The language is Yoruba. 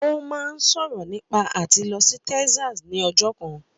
Ó máa ń sọ̀rọ̀ nípa àti lọ sí Texas ni ọjọ́ kan